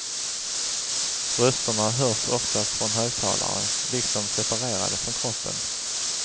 Rösterna hörs oftast från högtalare, liksom separerade från kroppen.